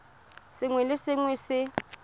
sengwe le sengwe se se